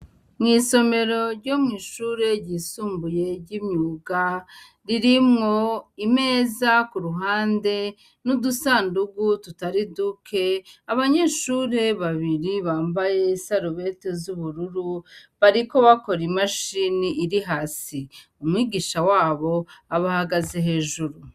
Mw'isomero ryo mw'ishure ryisumbuye ry'imyuga ririmwo imeza ku ruhande n'udusandugu tutari duke, abanyeshure babiri bambaye isarubete z'ubururu bariko bakora imashini iri hasi umwigisha wabo abahagaze hejuru.